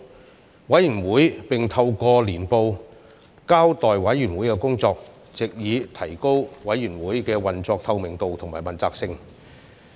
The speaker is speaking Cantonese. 此外，委員會並透過年報交代委員會的工作，藉以提高運作的透明度及問責性。